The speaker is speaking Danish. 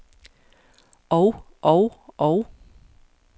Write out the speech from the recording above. og og og